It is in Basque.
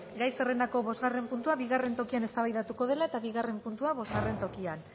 gai zerrendako bosgarren puntua bigarren tokian eztabaidatuko dela eta bigarren puntua bostgarren tokian